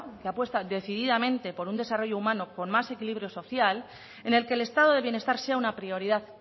que apuesta decididamente por un desarrollo humano con más equilibrio social en el que el estado de bienestar sea una prioridad